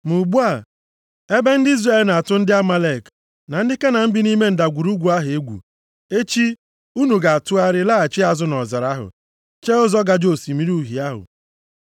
Ma ugbu a, ebe ndị Izrel na-atụ ndị Amalek na ndị Kenan bi nʼime ndagwurugwu ahụ egwu, echi, unu ga-atụgharịa laghachi azụ nʼọzara ahụ; chee ụzọ gaje Osimiri Uhie ahụ ihu.”